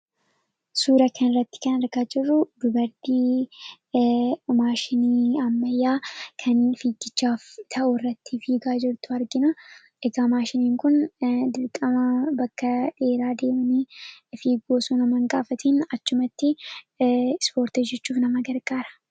Suuraa kanarratti kan argaa jirru dubartii maashinii ammayyaa kan fiigichaaf ta'urratti yeroo hojjattu argina. Egaa maashiniin kun dirqama bakka dheeraa deemuu osoo naman gaafatiin achumatti ispoortii hojjachuuf nama gargaara.